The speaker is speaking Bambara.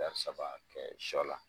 Taari saba kɛ sɔ la.